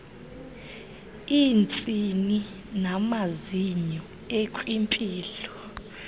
iintsini namazinyo ekwimpilo